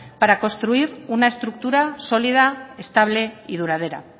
para construir una estructura sólida estable y duradera